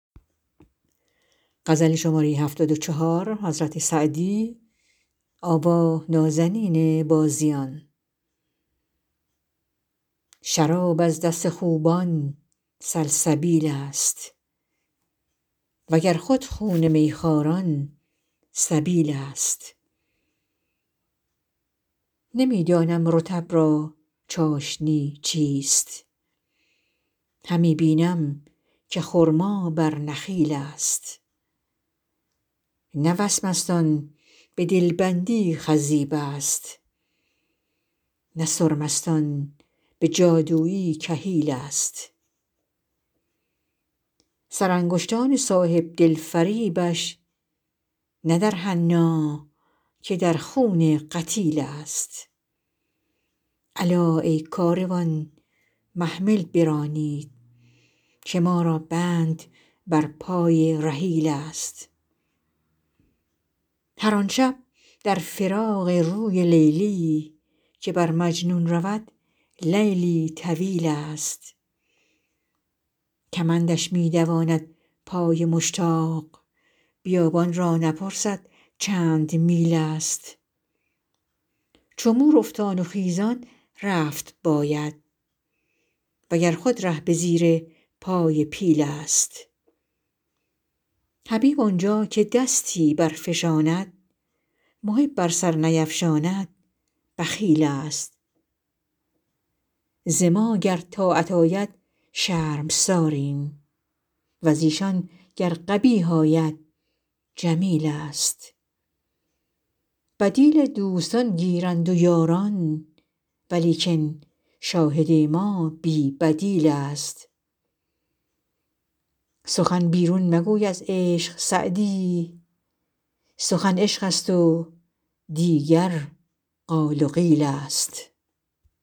شراب از دست خوبان سلسبیل ست و گر خود خون می خواران سبیل ست نمی دانم رطب را چاشنی چیست همی بینم که خرما بر نخیل ست نه وسمست آن به دل بندی خضیب ست نه سرمست آن به جادویی کحیل ست سرانگشتان صاحب دل فریبش نه در حنا که در خون قتیل ست الا ای کاروان محمل برانید که ما را بند بر پای رحیل ست هر آن شب در فراق روی لیلی که بر مجنون رود لیلی طویل ست کمندش می دواند پای مشتاق بیابان را نپرسد چند میل ست چو مور افتان و خیزان رفت باید و گر خود ره به زیر پای پیل ست حبیب آن جا که دستی برفشاند محب ار سر نیفشاند بخیل ست ز ما گر طاعت آید شرمساریم و ز ایشان گر قبیح آید جمیل ست بدیل دوستان گیرند و یاران ولیکن شاهد ما بی بدیل ست سخن بیرون مگوی از عشق سعدی سخن عشق ست و دیگر قال و قیل ست